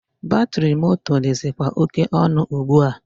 Batịrị moto dịzịkwa oke ọnụ ugbua.